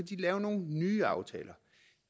lave nogle nye aftaler